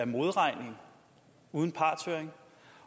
modregning uden partshøring